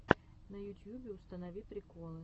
на ютьюбе установи приколы